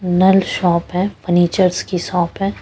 नल shop है furnitures की shop है।